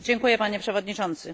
Panie Przewodniczący!